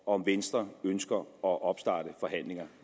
om venstre ønsker at opstarte forhandlinger